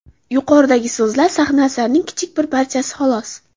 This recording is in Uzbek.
Yuqoridagi so‘zlar sahna asarining kichik bir parchasi, xolos.